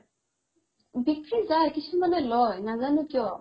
বিক্ৰি যাই কিছুমানে লই নাজানো কিয়